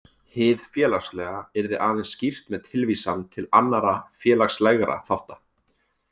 Hið félagslega yrði aðeins skýrt með tilvísan til annarra félagslegra þátta.